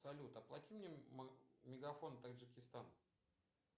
салют оплати мне мегафон таджикистан